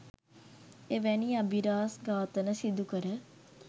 එවැනි අබිරහස්‌ ඝාතන සිදුකර